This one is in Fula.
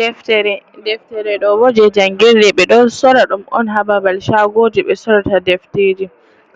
Deftere: Deftere ɗo bo je jangirde ɓe ɗo sora ɗum on ha babal shagoji ɓe sorata defteji.